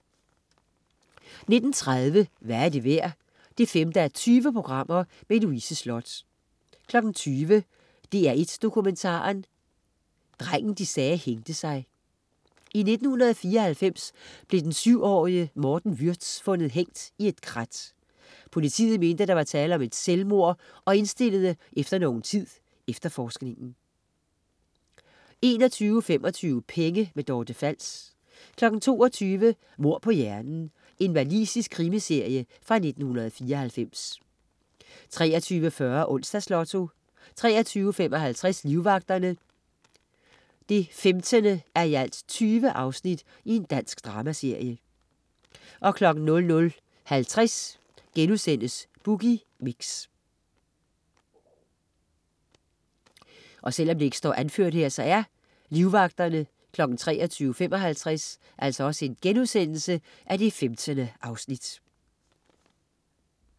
19.30 Hvad er det værd? 5:20. Louise Sloth 20.00 DR1 Dokumentaren. Drengen de sagde hængte sig. I 1994 blev den syv-årige Morten Würtz fundet hængt i et krat. Politiet mente, at der var tale om et selvmord og indstillede efter nogen tid efterforskningen 21.25 Penge. Dorte Fals 22.00 Mord på hjernen. Walisisk krimiserie fra 1994 23.40 Onsdags Lotto 23.55 Livvagterne. 15:20 Dansk dramaserie 00.50 Boogie Mix*